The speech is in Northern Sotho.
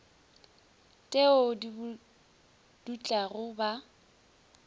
t eo di dutlago ba